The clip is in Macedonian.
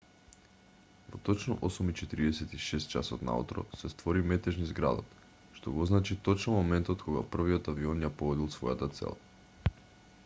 во точно 8:46 часот наутро се створи метеж низ градот што го означи точно моментот кога првиот авион ја погодил својата цел